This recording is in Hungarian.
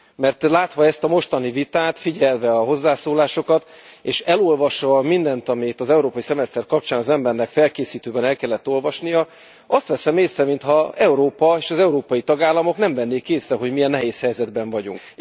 Mert látva ezt a mostani vitát, figyelve a hozzászólásokat és elolvasva mindent, ami itt az európai szemeszter kapcsán az embernek felkészítőben el kellett olvasnia, azt veszem észre, mintha Európa és az európai tagállamok nem vennék észre, hogy milyen nehéz helyzetben vagyunk.